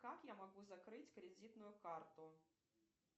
как я могу закрыть кредитную карту